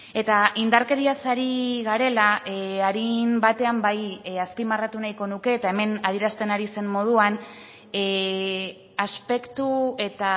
eta indarkeriaz ari garela arin batean bai azpimarratu nahiko nuke eta hemen adierazten ari zen moduan aspektu eta